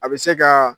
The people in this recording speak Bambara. A bɛ se ka